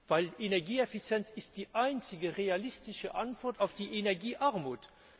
Denn Energieeffizienz ist die einzige realistische Antwort auf die Energiearmut.